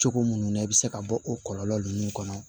Cogo minnu na i bɛ se ka bɔ o kɔlɔlɔ ninnu kɔnɔ